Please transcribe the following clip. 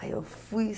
Aí eu fui...